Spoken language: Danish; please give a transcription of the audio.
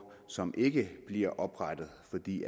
som ikke bliver oprettet fordi